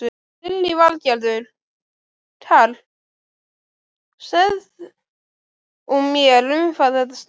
Lillý Valgerður: Karl, segð þú mér um hvað þetta snýst?